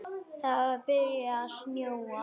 Það var byrjað að snjóa.